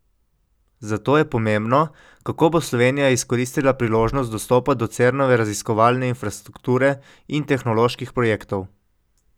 Zato je pomembno, kako bo Slovenija izkoristila priložnost dostopa do Cernove raziskovalne infrastrukture in tehnoloških projektov.